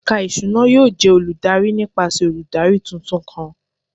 Ẹka iṣuna yoo jẹ oludari nipasẹ oludari tuntun kan